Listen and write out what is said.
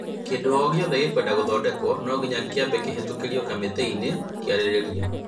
kĩĩndũ ogĩothe gĩkũenda gũthondekwo nonginya kĩambe kĩhetũkĩrio kamĩtĩinĩ kĩarĩrĩrio